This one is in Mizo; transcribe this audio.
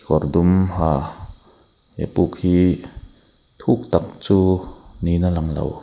kawr dum ha he puk hi thuk tak chu niin a lang lo.